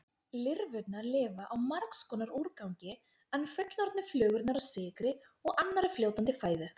Lirfurnar lifa á margs konar úrgangi en fullorðnu flugurnar á sykri og annarri fljótandi fæðu.